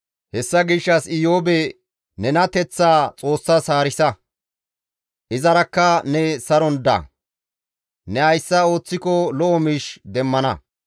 «Hessa gishshas Iyoobe nenateththaa Xoossas haarisa; izarakka ne saron da; ne hayssa ooththiko lo7o miish demmana.